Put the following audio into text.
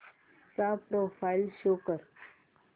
चा profile show कर